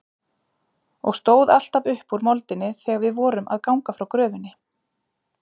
Og stóð alltaf upp úr moldinni þegar við vorum að ganga frá gröfinni.